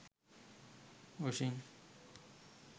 oshin